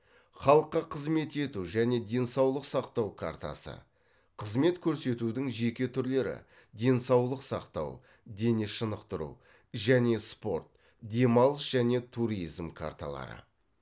халыққа қызмет ету және денсаулық сақтау картасы қызмет көрсетудің жеке түрлері денсаулық сақтау дене шынықтыру және спорт демалыс және туризм карталары